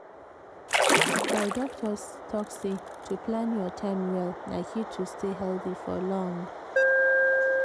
my doctor talk say to plan your time well na key to stay healthy for long.